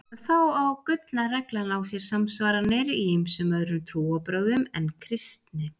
Þá á gullna reglan á sér samsvaranir í ýmsum öðrum trúarbrögðum en kristni.